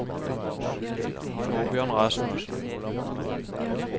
Torbjørn Rasmussen